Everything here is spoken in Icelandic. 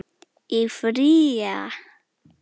Í frí. eða?